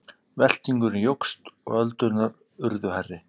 Veltingurinn jókst og öldurnar urðu stærri.